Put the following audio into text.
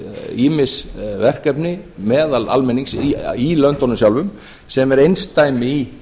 ýmis verkefni meðal almennings í löndunum sjálfum sem er einsdæmi í